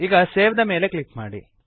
ಈಗ ಸೇವ್ ದ ಮೇಲೆ ಕ್ಲಿಕ್ ಮಾಡಿರಿ